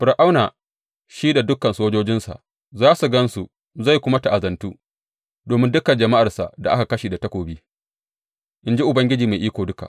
Fir’auna, shi da dukan sojojinsa, za su gan su zai kuma ta’azantu domin dukan jama’arsa da aka kashe da takobi, in ji Ubangiji Mai Iko Duka.